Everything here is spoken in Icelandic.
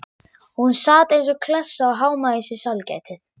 Hún sat eins og klessa og hámaði í sig sælgætið.